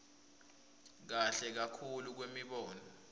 kahle kakhulu kwemibono